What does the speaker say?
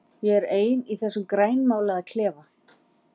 Ég er ein í þessum grænmálaða klefa.